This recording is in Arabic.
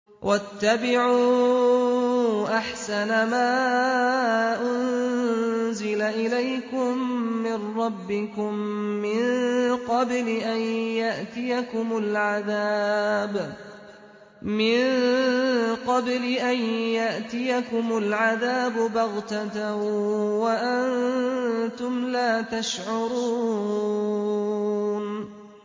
وَاتَّبِعُوا أَحْسَنَ مَا أُنزِلَ إِلَيْكُم مِّن رَّبِّكُم مِّن قَبْلِ أَن يَأْتِيَكُمُ الْعَذَابُ بَغْتَةً وَأَنتُمْ لَا تَشْعُرُونَ